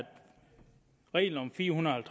reglen om fire hundrede og